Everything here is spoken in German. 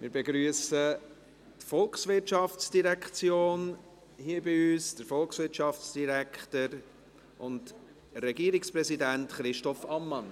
Wir begrüssen die VOL hier bei uns, den Volkswirtschaftsdirektor und Regierungspräsidenten Christoph Ammann